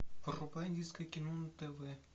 врубай индийское кино на тв